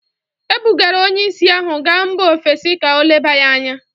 E bugara onye ìsì ahụ gaa mba ofesi ka o leba ya anya